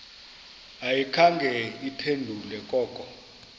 ayikhange iphendule koko